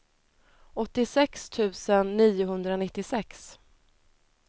åttiosex tusen niohundranittiosex